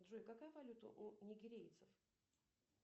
джой какая валюта у нигерийцев